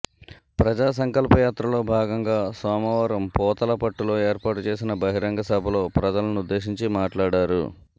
ప్రజాసంకల్ప యాత్రలో భాగంగా సోమవారం పూతలపట్టులో ఏర్పాటు చేసిన బహిరంగ సభలో ప్రజలనుద్దేశించి మాట్లాడారు